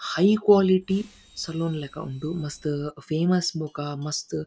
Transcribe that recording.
high quality salon ಲೆಕ ಉಂಡು ಮಸ್ತ್ ಫೇಮಸ್ ಬೊಕ ಮಸ್ತ್--